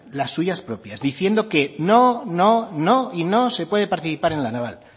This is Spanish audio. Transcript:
las suyas propias diciendo que no no y no se puede participar en la naval